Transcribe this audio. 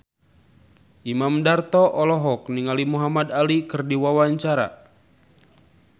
Imam Darto olohok ningali Muhamad Ali keur diwawancara